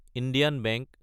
Indian bank